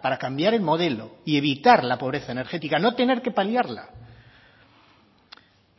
para cambiar el modelo y evitar la pobreza energética no tener que paliarla